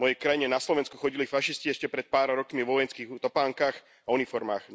V mojej krajine, na Slovensku, chodili fašisti ešte pred pár rokmi vo vojenských topánkach a uniformách.